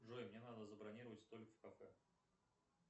джой мне надо забронировать столик в кафе